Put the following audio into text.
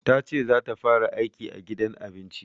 Tace za ta fara aiki a gidan abinci.